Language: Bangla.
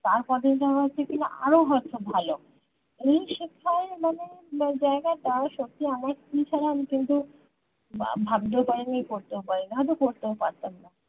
তার কদিনের মধ্যে কিনা আরো হয়তো ভালো এই শেখাই মানে জায়গাটা সত্যি আমার কি খারাপ কিন্তু ভাবতেও পারি নি পড়তেও পারি নি হয়তো পড়তেও পারতাম না